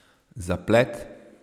Zaplet?